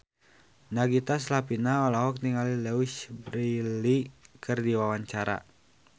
Nagita Slavina olohok ningali Louise Brealey keur diwawancara